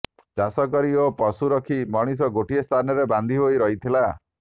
ଚାଷକରି ଓ ପଶୁ ରଖି ମଣିଷ ଗୋଟିଏ ସ୍ଥାନରେ ବାନ୍ଧି ହୋଇ ରହିଲା